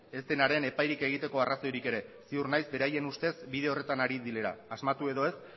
ez denaren epairik egiteko arrazoirik ere ziur naiz beraien ustez bide horretan ari direla asmatu edo ez